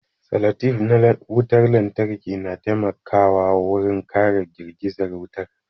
Salatif ɗin wutar lantarki na taimakawa wurin kare girgizar wuta